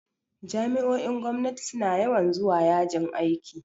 Jami'o'in gwamnati suna yawan zuwa yajin aiki.